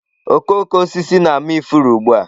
Okooko osisi na-ama ifuru ugbu a.